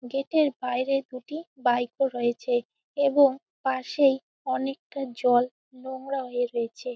Gate এর বাইরে দুটি বাইক রয়েছে এবং পাশেই অনেকটা জল নোংরা হয়ে রয়েছে।